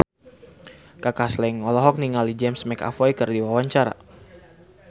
Kaka Slank olohok ningali James McAvoy keur diwawancara